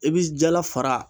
I bi jala fara